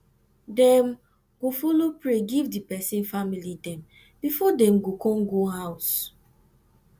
dem go follow pray giv di pesin family dem bifor dem go con go ouse